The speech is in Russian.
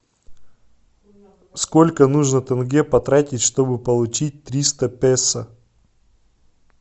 сколько нужно тенге потратить чтобы получить триста песо